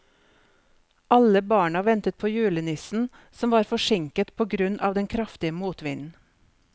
Alle barna ventet på julenissen, som var forsinket på grunn av den kraftige motvinden.